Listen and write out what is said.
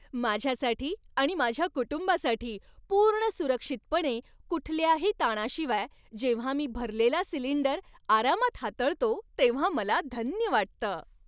माझ्यासाठी आणि माझ्या कुटुंबासाठी पूर्ण सुरक्षितपणे, कुठल्याही ताणाशिवाय जेव्हा मी भरलेला सिलिंडर आरामात हाताळतो तेव्हा मला धन्य वाटतं.